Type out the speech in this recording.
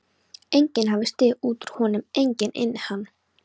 Enginn hafi stigið út úr honum, enginn inn í hann.